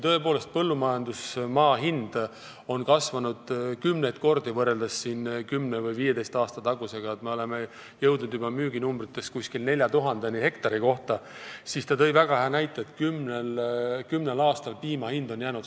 Põllumajandusmaa hind on kasvanud kümneid kordi võrreldes 10 või 15 aasta taguse ajaga – me oleme müüginumbrites jõudnud juba umbes 4000 euroni hektari kohta –, aga selle kümne aasta jooksul on piima hind samaks jäänud.